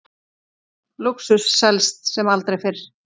Lúxus selst sem aldrei fyrr